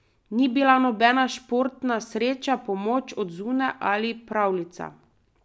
Ni bila nobena športna sreča, pomoč od zunaj ali pravljica.